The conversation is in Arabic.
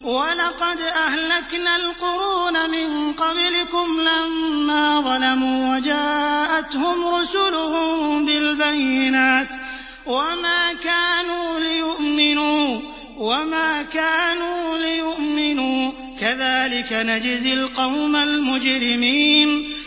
وَلَقَدْ أَهْلَكْنَا الْقُرُونَ مِن قَبْلِكُمْ لَمَّا ظَلَمُوا ۙ وَجَاءَتْهُمْ رُسُلُهُم بِالْبَيِّنَاتِ وَمَا كَانُوا لِيُؤْمِنُوا ۚ كَذَٰلِكَ نَجْزِي الْقَوْمَ الْمُجْرِمِينَ